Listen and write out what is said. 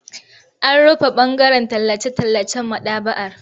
An rufe ɓangaren tallace-tallacen maɗaba'ar.